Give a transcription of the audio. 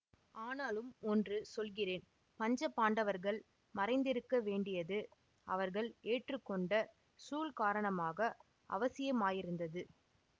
ஆனாலும் ஒன்று சொல்கிறேன் பஞ்சபாண்டவர்கள் மறைந்திருக்க வேண்டியது அவர்கள் ஏற்றுக்கொண்ட சூள் காரணமாக அவசியமாயிருந்தது